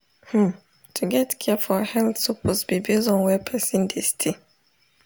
hmm to get care for health suppose be base on where person dey stay